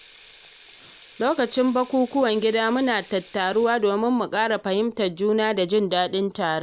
Lokacin bukukuwan gida, muna tattaruwa domin mu ƙara fahimtar juna da jin daɗin taron.